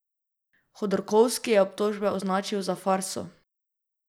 Hodorkovski je obtožbe označil za farso.